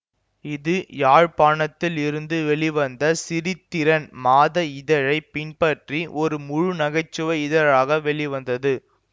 இது யாழ்ப்பாணத்தில் இருந்து வெளிவந்த சிரித்திரன் மாத இதழைப் பின்பற்றி ஒரு முழு நகைச்சுவை இதழாக வெளிவந்தது